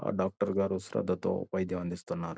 ఆ డాక్టర్ గారు శ్రద్ధతో వైద్యం అందిస్తున్నారు.